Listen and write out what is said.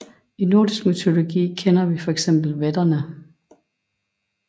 I nordisk mytologi kender vi fx vætterne